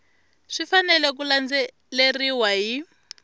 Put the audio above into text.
swi fanele ku landzeleriwa hi